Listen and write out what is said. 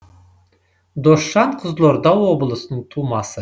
досжан қызылорда облысының тумасы